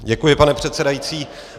Děkuji, pane předsedající.